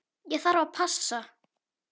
Ég þarf að passa.